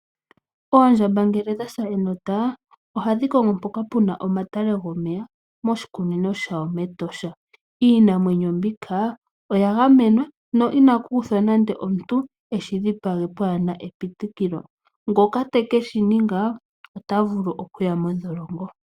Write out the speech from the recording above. Oondjmba ngele dhasa enota ohadhi kongo mpoka puna omatale gomeya moshikunino shawo mEtosha, iinamwenyo mbika oya gamenwa no iina kuthwa nande omuntu eshi dhipage pwaana epitililo ngoka teke shininga otavulu okuya modholongo.